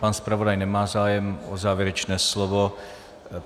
Pan zpravodaj nemá zájem o závěrečné slovo.